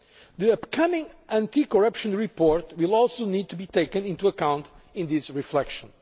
be drawn. The upcoming anti corruption report will also need to be taken into account in this reflection.